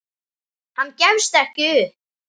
Hann gefst ekki upp.